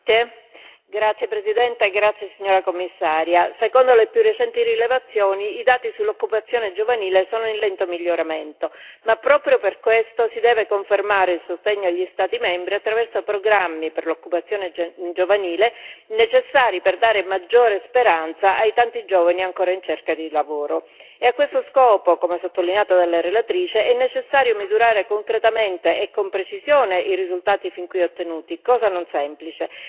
Signora Presidente, signora Commissaria, onorevoli colleghi, secondo le più recenti rilevazioni i dati sull'occupazione giovanile sono in lento miglioramento, ma proprio per questo si deve confermare il sostegno agli Stati membri attraverso programmi per l'occupazione giovanile necessari per dare maggiore speranza ai tanti giovani ancora in cerca di lavoro. A questo scopo, come sottolineato dalla relatrice, è necessario misurare concretamente e con precisione i risultati fin qui ottenuti, cosa non semplice.